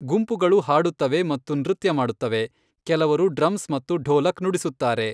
ಗುಂಪುಗಳು ಹಾಡುತ್ತವೆ ಮತ್ತು ನೃತ್ಯ ಮಾಡುತ್ತವೆ, ಕೆಲವರು ಡ್ರಮ್ಸ್ ಮತ್ತು ಢೋಲಕ್ ನುಡಿಸುತ್ತಾರೆ.